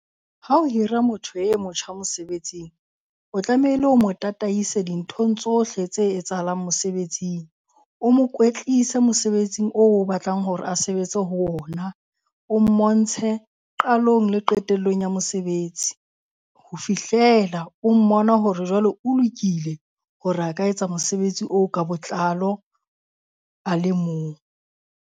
Ha o hira motho e motjha mosebetsing, o tlamehile o mo tataise dinthong tsohle tse etsahalang mosebetsing. O mo kwetlise mosebetsing oo o batlang hore a sebetse ho ona. O mmontshe qalong le qetellong ya mosebetsi. Ho fihlela o mmona hore jwale o lokile hore a ka etsa mosebetsi oo ka botlalo a le mong.